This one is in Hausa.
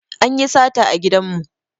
Anyi sata a gidan mu